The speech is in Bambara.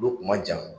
Olu kun ma jan